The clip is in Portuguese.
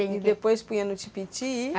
Ele depois punha no tipiti e ?